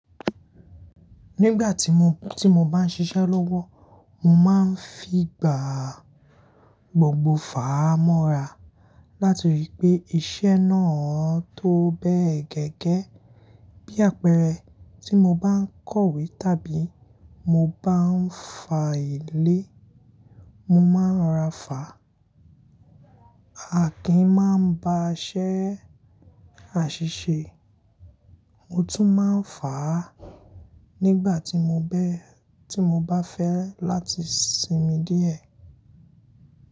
Nígbà tí mo, tí mo bá ń ṣiṣẹ́ lọ́wọ́, mo má ń fi gbà gbogbo fàá mọ́ra, láti rí pé iṣẹ́ náà tó bẹ́ẹ̀ gẹ́gẹ́. Bí àpẹẹrẹ, tí mo bá ń kọ̀wé tàbí mo bá ń fa ìle, mo má ń rora fàá. Akin má ń ba iṣẹ́ àṣìṣe, ó tún má ń fàá nígbà tí mo bẹ́, tí mo bá fẹ́ láti sinmi díẹ̀.